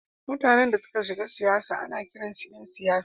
Mutanen da suka shiga siyasa ana kiransu ’yan siyasa.